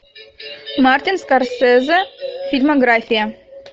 мартин скорсезе фильмография